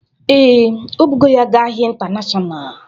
Ee, o bụgo ya ga ahịa intanashonal